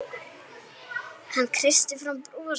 Hann kreisti fram bros.